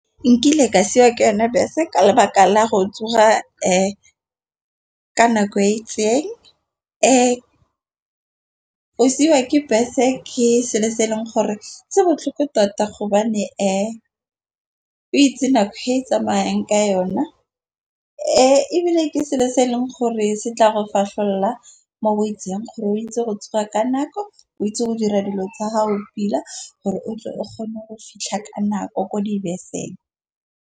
Nkile ka siwa ke yone bese ka lebaka la go tsoga ka nako e itseng. Go siwa ke bese ke selo se e leng gore se botlhoko tota gobane o itse nako e tsamayeng ka yona, ebile ke selo se e leng gore se tla re fahlolla mo boitseng gore o itse go tsoga ka nako, o itse go dira dilo tsa gago pila gore o tle o kgone go fitlha ka nako ko dibeseng.